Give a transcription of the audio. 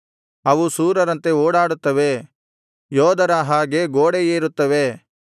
ಅವು ಶೂರರಂತೆ ಓಡಾಡುತ್ತವೆ ಯೋಧರ ಹಾಗೆ ಗೋಡೆ ಏರುತ್ತವೆ